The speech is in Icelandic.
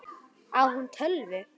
Á hún tölvu?